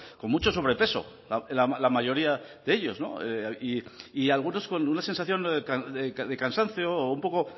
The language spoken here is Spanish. con mucho sobrepeso la mayoría de ellos y algunos con una sensación de cansancio o un poco